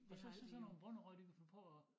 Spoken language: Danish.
Og så så sådan nogen bonderøve de kunne finde på at